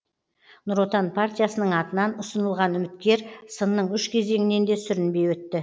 нұр отан партиясының атынан ұсынылған үміткер сынның үш кезеңінен де сүрінбей өтті